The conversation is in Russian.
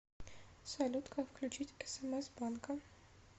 салют как включить смс банка